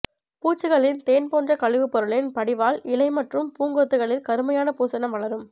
பூச்சிகளின் தேன் போன்ற கழிவுப் பொருளின் படிவால் இலை மற்றும் பூங்கொத்துக்களில் கருமையான பூசணம் வளரும்